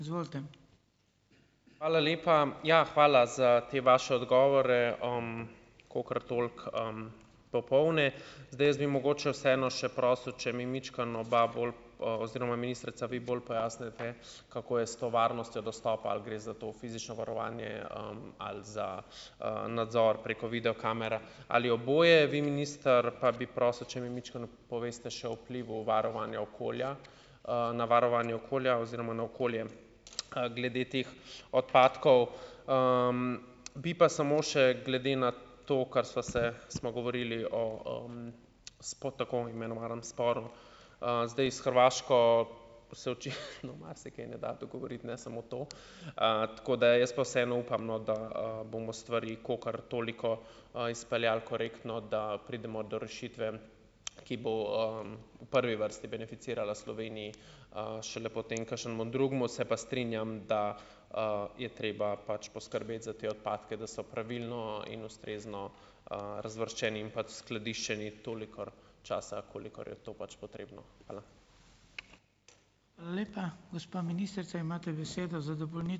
Hvala lepa. Ja, hvala za te vaše odgovore, kolikor toliko, popolne. Zdaj, jaz bi mogoče vseeno še prosil, če mi majčkeno oba bolj, oziroma ministrica, vi bolj pojasnite, kako je s to varnostjo dostopa, ali gre za to fizično varovanje, ali za, nadzor preko video kamer ali oboje, vi, minister, pa bi prosil, če mi majčkeno poveste še o vplivu varovanja okolja, na varovanje okolja oziroma na okolje, glede teh odpadkov. Bi pa samo še glede na to, kar sva se, smo govorili o, tako imenovanem sporu. Zdaj, s Hrvaško se očitno marsikaj ne da dogovoriti, ne samo to. Tako da jaz pa vseeno upam, no, da, bomo stvari kolikor toliko, izpeljali korektno, da pridemo do rešitve, ki bo, v prvi vrsti beneficirala Sloveniji, šele potem kakšnemu drugemu. Se pa strinjam, da, je treba pač poskrbeti za te odpadke, da so pravilno in ustrezno, razvrščeni in pa skladiščeni toliko časa, kolikor je to pač potrebno. Hvala.